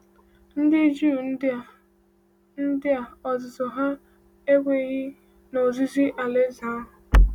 Ndị Juu ndị a, ndị a, n’ozuzu ha, ekweghị n’ozizi Alaeze ahụ.